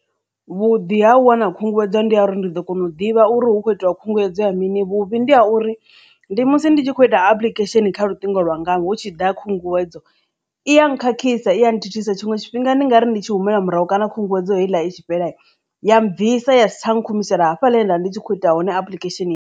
Vhuḓi ha u wana khunguwedzo ndi ha uri ndi ḓo kona u ḓivha uri hu kho itea khunguwedzo ya mini vhuvhi ndi ha uri ndi musi ndi tshi kho ita application kha luṱingo lwanga hu tshi ḓa khunguwedzo i ya nkhakhisa iya ni thithisa tshiṅwe tshifhinga ndi nga ri ndi tshi humela murahu kana khunguwedzo heiḽa i tshi fhela ya mbvisa ya si tsha nkhumisela hafhala he nda ndi tshi kho ita hone application.